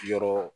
Yɔrɔ